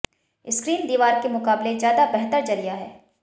screen दीवार के मुकाबले ज्यादा बेहतर जरिया है